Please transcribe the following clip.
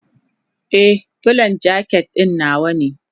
Ee, Bulan jaket ɗin nawa ne.